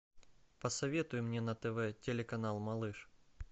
посоветуй мне на тв телеканал малыш